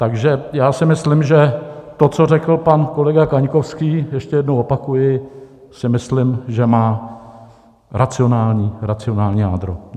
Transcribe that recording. Takže já si myslím, že to, co řekl pan kolega Kaňkovský, ještě jednou opakuji, si myslím, že má racionální jádro.